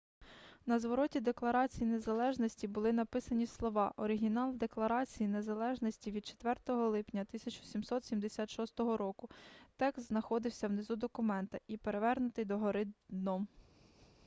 на звороті декларації незалежності були написані слова оригінал декларації незалежності від 4 липня 1776 року текст знаходиться внизу документа і перевернутий догори дном